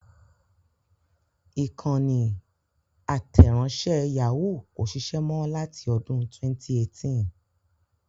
Ìkànnì àtẹ̀ránṣẹ́ Yahoo kò ṣiṣẹ́ mọ láti ọdún 2018.